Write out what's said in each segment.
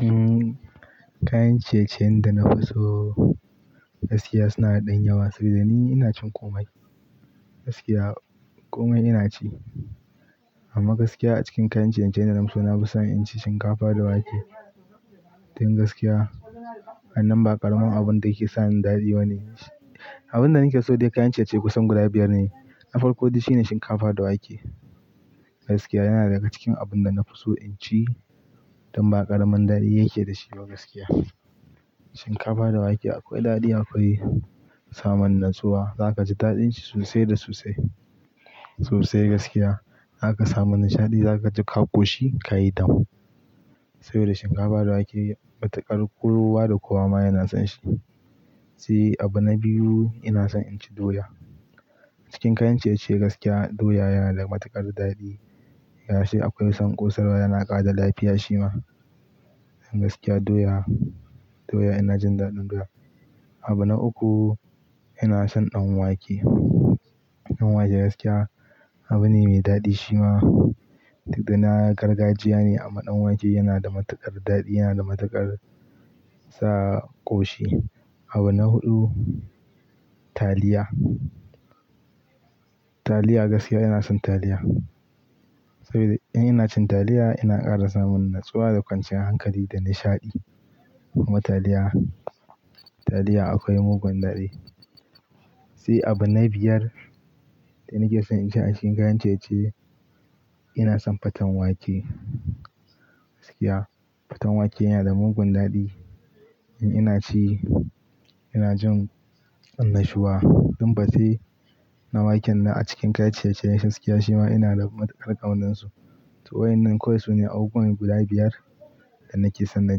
Umm, kayan ciye-ciyen da na fi so gaskiya suna da ɗan yawa saboda ni ina cin ƙomai. Gaskiya ƙomai ina ci amma gaskiya a cikin kayan ciye-ciyen da na fi so, na fi son in ci shinkafa da wake. Tin gaskiya, wannan ba ƙaramin abun da yake sa ni daɗi ba ne. Abin da nake so dai kayan ciye-ciye kusan guda biyar ne. Na farko dai shi ne shinkafa da wake. Gaskiya yana daga cikin abun da na fi so in ci dan ba ƙaramin daɗi yake da shi ba gaskiya. Shinkafa da wake akwai daɗi, akwai samun natsuwa, za ka ji daɗin shi sosai da sosai. Sosai gaskiya, za ka samu nishaɗi, za ka ji ƙo shi, ka yi dam. Saboda shinkafa da wake matuƙar kowa da kowa ma yana son shi. Sai abu na biyu ina son in ci doya. A cikin kayan ciye-ciye gaskiya doya yana da matuƙar daɗi. Yace akwai son ƙosar wa yana ƙara da lafiya shima. Gaskiya doya, doya ina jin daɗin doya. Abu na uku ina son ɗan wake. Ɗan wake gaskiya abu ne mai daɗi shima duk da na gargajiya ne amma ɗan wake yana da matuƙar daɗi, yana da matuƙar sa ƙoshi. Abu na huɗu taliya. Taliya gaskiya ina son taliya. Saboda in ina cin taliya ina ƙara samun natsuwa da kwanciyar hankali da nishaɗi. Kuma taliya, taliya akwai mugun daɗi. Sai abu na biyar da nake son in ci a cikin kayan ciye-ciye ina son faten wake. Gaskiya faten wake yana da mugun daɗi. In ina ci ina jin annashuwa. Tun fatse na waken na a cikin kayan ciye-ciyen shiya shima ina da matuƙar ƙaunar su. To wai wannan kawai su ne abubuwa guda biyar da nake son na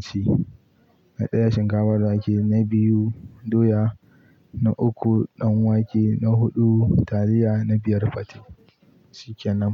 ci. Na ɗaya shinkafa da wake, na biyu doya, na uku ɗan wake, na huɗu taliya, na biyar fate. Shikenan.